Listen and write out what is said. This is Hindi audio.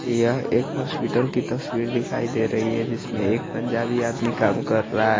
यह एक हॉस्पिटल की तस्वीर दिखाई दे रही है जिसमे एक पंजाबी आदमी काम कर रहा है ।